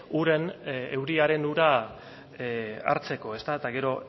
uren euriaren ura hartzeko ezta eta gero